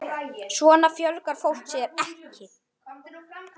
Svona fjölgar fólk sér ekki!